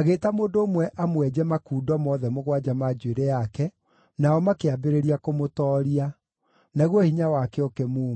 agĩĩta mũndũ ũmwe amwenje makundo mothe mũgwanja ma njuĩrĩ yake, nao makĩambĩrĩria kũmũtooria. Naguo hinya wake ũkĩmuuma.